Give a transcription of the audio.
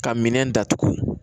Ka minɛn datugu